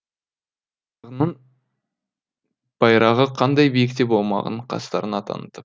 байрағы қандай биікте болмағын қастарына танытып